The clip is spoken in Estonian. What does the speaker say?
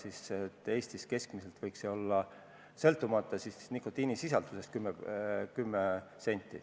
Eestis võiks see keskmiselt olla 10 senti, sõltumata nikotiinisisaldusest.